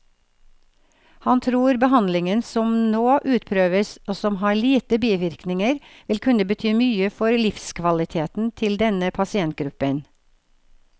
Han tror behandlingen som nå utprøves, og som har lite bivirkninger, vil kunne bety mye for livskvaliteten til denne pasientgruppen.